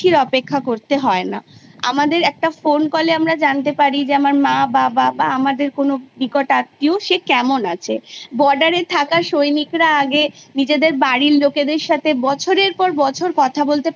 নির্ধারণ করা হয় যেটা আমার মতে মনে হয় যে ছাত্র ছাত্রীদের প্রচন্ড ক্ষতি করে একটা কোনো জিনিসের ওপর তার যতক্ষণ না দক্ষতা জন্মাচ্ছে তাকে তার পরবর্তী পদক্ষেপের জন্য উত্তীর্ণ করাটা কোনো ঠিক কাজ নয়